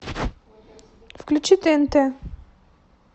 включи тнт